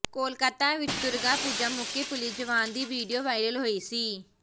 ਕੋਲਕਾਤਾ ਵਿੱਚ ਦੁਰਗਾ ਪੂਜਾ ਮੌਕੇ ਪੁਲਿਸ ਜਵਾਨ ਦੀ ਵੀਡੀਓ ਵਾਇਰਲ ਹੋਈ ਸੀ